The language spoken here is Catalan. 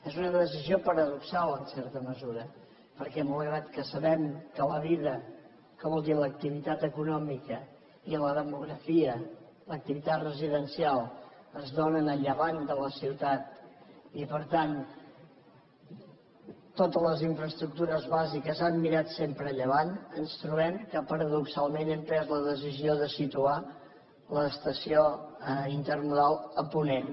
és una decisió paradoxal en certa mesura perquè malgrat que sabem que la vida que vol dir l’activitat econòmica i la demografia l’activitat residencial es dóna a llevant de la ciutat i per tant totes les infraestructures bàsiques han mirat sempre a llevant ens trobem que paradoxalment hem pres la decisió de situar l’estació intermodal a ponent